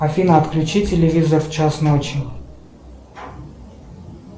афина отключи телевизор в час ночи